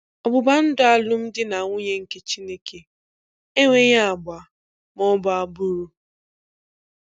Ọgbụgba ndụ alụmdi na nwunye nke Chineke enweghị agba ma ọ bụ agbụrụ.